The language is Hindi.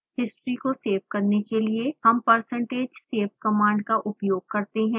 हिस्ट्री को सेव करने के लिए हम percentage save कमांड का उपयोग करते हैं